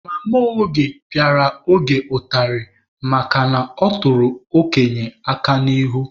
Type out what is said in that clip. Mama Oge pịara Oge ụtarị makana ọ tụrụ okenye aka n'ihu.